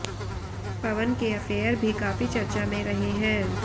पवन के अफेयर भी काफी चर्चा में रहे हैं